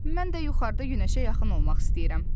Mən də yuxarıda günəşə yaxın olmaq istəyirəm.